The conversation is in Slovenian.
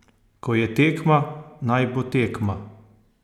Ko je tekma, naj bo tekma!